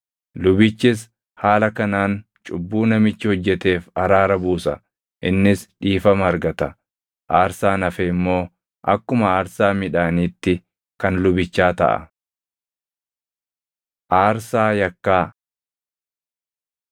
Lubichis haala kanaan cubbuu namichi hojjeteef araara buusa; innis dhiifama argata. Aarsaan hafe immoo akkuma aarsaa midhaaniitti kan lubichaa taʼa.’ ” Aarsaa Yakkaa